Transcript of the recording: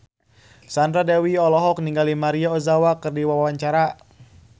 Sandra Dewi olohok ningali Maria Ozawa keur diwawancara